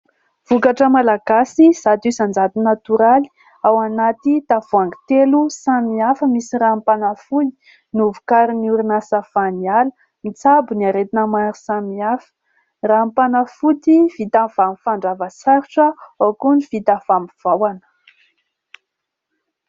Vokatra malagasy zato isan-jato natoraly ao anaty tavoahangy telo samy hafa, misy ranom-panafody novokarin'ny orinasa Vaniala. Mitsabo ny aretina maro samihafa ; ranom-panafody vita avy amin'ny fandrava sarotra ao koa ny vita avy amin'ny vahona.